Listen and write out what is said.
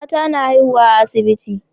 Mata na haihuwa a asibiti